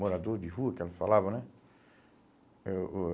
Morador de rua, que ela falava, né? Eh o